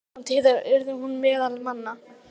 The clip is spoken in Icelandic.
Innan tíðar yrði hún meðal manna.